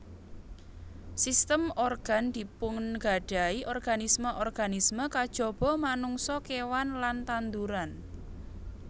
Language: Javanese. Sistem organ dipungadahi organisme organisme kajaba manungsa kewan lan tanduran